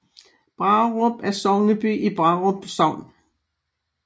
Brarup er sogneby i Brarup Sogn